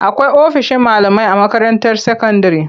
Akwai ofishin malamai a makaranta sakandire.